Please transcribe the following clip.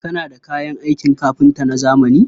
Kana da kayan aikin kafinta na zamani?